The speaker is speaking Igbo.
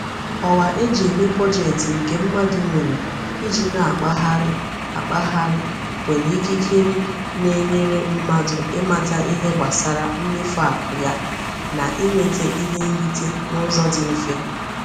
Ọwa e ji eme bọjetị nke mmadụ nwere iji na-akpagharị akpagharị nwere ikikere na-enyere mmadụ ịmata ihe gbasara mmefu akụ ya na inweta ihe nrite n'ụzọ dị mfe